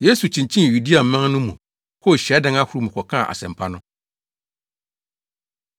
Yesu kyinkyin Yudeaman no mu kɔɔ hyiadan ahorow mu kɔkaa asɛmpa no.